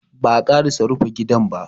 Ba'a ƙarasa rufa gidan ba.